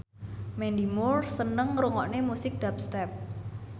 Mandy Moore seneng ngrungokne musik dubstep